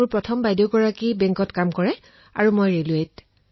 মোৰ প্ৰথম গৰাকী বাইদেৱে বেংকত চাকৰি কৰে আৰু মই ৰেলৱেত